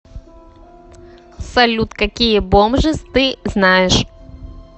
салют какие бомжиз ты знаешь